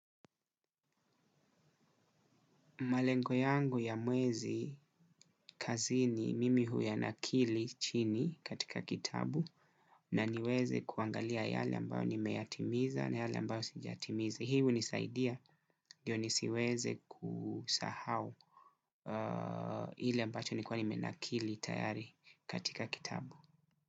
Malengo yangu ya mwezi kazini mimi huyanakili chini katika kitabu na niweze kuangalia yale ambayo nimeyatimiza na yale ambayo sijatimiza. Hii hunisaidia, ndio nisiweze kusahau ile ambacho nilikuwa nimenakili tayari katika kitabu.